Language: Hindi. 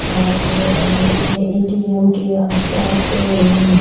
और एह यह ए.टी.एम. के आस-पास अम --